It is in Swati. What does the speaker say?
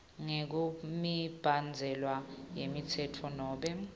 ngekwemibandzela yemtsetfo nobe